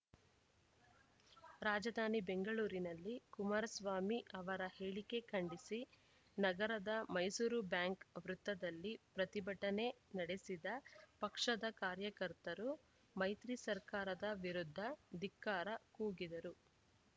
ರಾಜಧಾನಿ ಬೆಂಗಳೂರಿನಲ್ಲಿ ಕುಮಾರಸ್ವಾಮಿ ಅವರ ಹೇಳಿಕೆ ಖಂಡಿಸಿ ನಗರದ ಮೈಸೂರು ಬ್ಯಾಂಕ್‌ ವೃತ್ತದಲ್ಲಿ ಪ್ರತಿಭಟನೆ ನಡೆಸಿದ ಪಕ್ಷದ ಕಾರ್ಯಕರ್ತರು ಮೈತ್ರಿ ಸರ್ಕಾರದ ವಿರುದ್ಧ ಧಿಕ್ಕಾರ ಕೂಗಿದರು